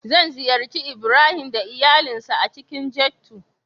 Zan ziyarci Ibrahim da iyalinsa a cikin ghetto.